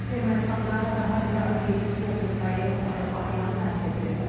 Ermənistanda daha bir arxiyepiskop Mikayıl Ajan həbs edilib.